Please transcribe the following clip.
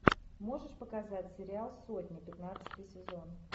можешь показать сериал сотня пятнадцатый сезон